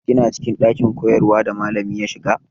Kina cikin ɗakin koyarwa da malami ya shiga?